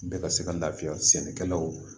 Bɛɛ ka se ka lafiya sɛnɛkɛlaw ma